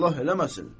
Allah eləməsin.